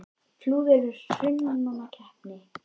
Flúðir er í Hrunamannahreppi.